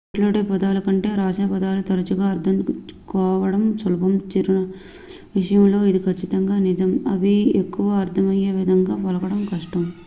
మాట్లాడే పదాల కంటే వ్రాసిన పదాలు తరచుగా అర్థం చేసుకోవడం సులభం చిరునామాల విషయంలో ఇది ఖచ్చితంగా నిజం అవి ఎక్కువగా అర్థమయ్యేవిధంగా పలకడం కష్టం